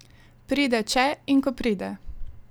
Pride, če in ko pride.